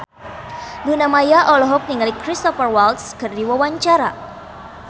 Luna Maya olohok ningali Cristhoper Waltz keur diwawancara